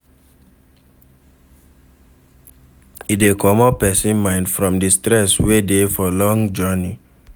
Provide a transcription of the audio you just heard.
E de comot persin mind from di stress wey de for long journey